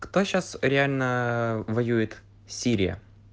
кто сейчас реально воюет сирия